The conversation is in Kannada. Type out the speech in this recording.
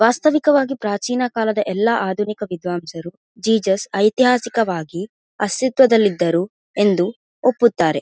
ವಾಸ್ತವಿಕವಾಗಿ ಪ್ರಾಚೀನಕಾಲದ ಎಲ್ಲ ಆಧುನಿಕ ವಿದ್ವಾಂಸರು ಜೀಸಸ್ ಐತಿಹಾಸಿಕವಾಗಿ ಅಸ್ಥಿತ್ವದಲ್ಲಿ ಇದ್ದರು ಎಂದು ಒಪ್ಪುತ್ತಾರೆ.